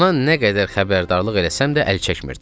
Ona nə qədər xəbərdarlıq eləsəm də əl çəkmirdi.